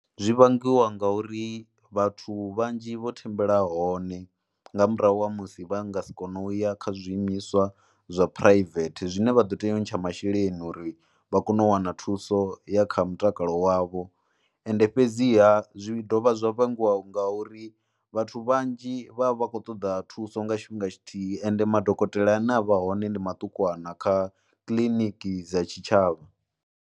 Zwi vhangiwa ngauri vhathu vhanzhi vho thembela hone nga murahu ha musi vha nga si kone u ya kha zwiimiswa zwa phuraivethe zwine vha ḓo tea u ntsha masheleni uri vha kone u wana thuso ya kha mutakalo wavho, ende fhedziha zwi dovha zwa vhangiwaho ngauri vhathu vhanzhi vha vha khou ṱoḓa thuso nga tshifhinga tshithihi ende madokotela ane a vha hone ndi maṱukuwana kha kiliniki dza tshitshavha.